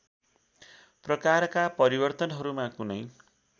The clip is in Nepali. प्रकारका परिवर्तनहरूमा कुनै